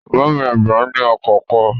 Bàbá mi àgbà ní ọkọ̀ kan